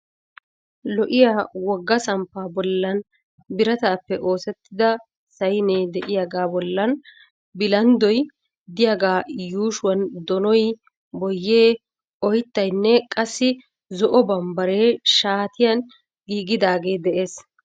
Lo"iyaa wogga samppaa bollan birataappe oosettida sayne de'iyaaga bollan bilanddoy diyaagaa yuushuwan donoy, boyyee, oyttaynne qassi zo"o bambbaree shaatiyan giigidagee de'ees.